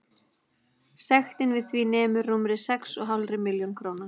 Sektin við því nemur rúmri sex og hálfri milljón króna.